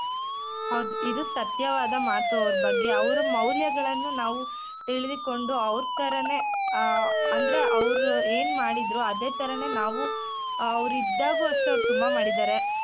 ಹೌದು ಇದು ಸತ್ಯವಾದ ಮಾತು ಅವ್ರ ಬಗ್ಗೆ ಅವ್ರ ಮೌಲ್ಯಗಳನ್ನ ನಾವು ತಿಳಿದುಕೊಂಡು ಅವ್ರ್ ತರಾನೆ ಆ ಅಂದ್ರೆ ಅವ್ರು ಏನ್ ಮಾಡಿದ್ರು ಅದೇ ತರನೆ ನಾವು ಅವ್ರಿದ್ದಾಗು ಅಷ್ಟೇ ಅವ್ರು ತುಂಬಾ ಮಾಡಿದಾರೆ.